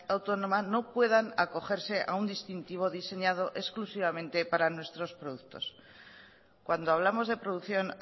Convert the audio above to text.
autónoma no puedan acogerse a un distintivo diseñado exclusivamente para nuestros productos cuando hablamos de producción